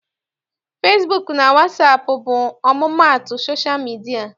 Fesibuuku na wasaapụ bụ ọmụmaatụ sosha midia.